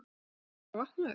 Þú ert bara vaknaður.